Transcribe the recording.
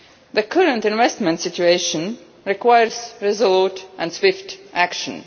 The current investment situation requires resolute and swift action.